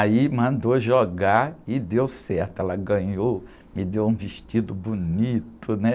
Aí mandou jogar e deu certo, ela ganhou, me deu um vestido bonito, né?